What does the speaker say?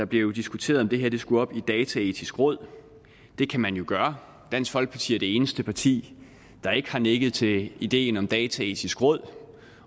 blev diskuteret om det her skulle op i dataetisk råd at det kan man jo gøre dansk folkeparti er det eneste parti der ikke har nikket til ideen om dataetisk råd